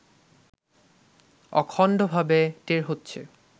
অখণ্ডভাবে টের হচ্ছে